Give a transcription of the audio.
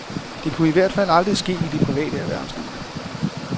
Det kunne i hvert fald aldrig ske i det private erhvervsliv.